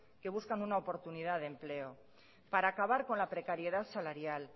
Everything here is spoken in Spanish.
que buscan una oportunidad de empleo para acabar con la precariedad salarial